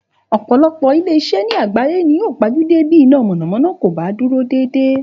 Ò̩pò̩lo̩pò̩ ilé is̩é̩ ni àgbáyé ni yóò pa jú dé bí iná mò̩nàmó̩ná kò bá dúró dédé